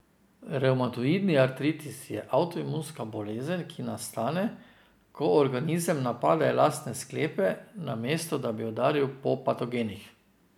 Revmatoidni artritis je avtoimunska bolezen, ki nastane, ko organizem napade lastne sklepe, namesto da bi udaril po patogenih.